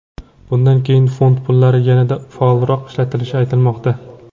Bundan keyin fond pullari yanada faolroq ishlatilishi aytilmoqda.